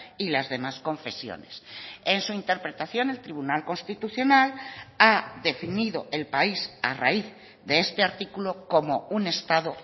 y las demás confesiones en su interpretación el tribunal constitucional ha definido el país a raíz de este artículo como un estado